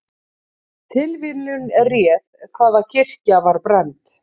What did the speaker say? Tilviljun réð hvaða kirkja var brennd